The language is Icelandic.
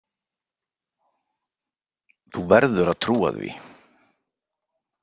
Þú verður að trúa því.